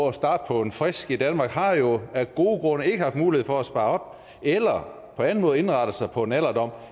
at starte på en frisk i danmark har jo af gode grunde ikke haft mulighed for at spare op eller på anden måde indrette sig på en alderdom